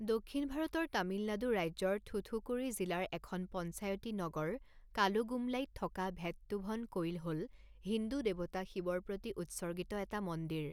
দক্ষিণ ভাৰতৰ তামিলনাডু ৰাজ্যৰ থুথুকুড়ি জিলাৰ এখন পঞ্চায়তী নগৰ কালুগুমলাইত থকা ভেট্টুভন কোইল হ'ল হিন্দু দেৱতা শিৱৰ প্ৰতি উৎসৰ্গিত এটা মন্দিৰ।